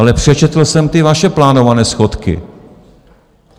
Ale přečetl jsem ty vaše plánované schodky.